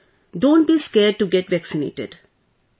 Please don't be scared to get vaccinated